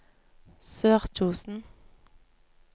Sørkjosen